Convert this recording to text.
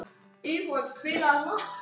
Ísfold, spilaðu lag.